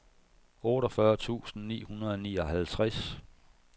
otteogfyrre tusind ni hundrede og nioghalvtreds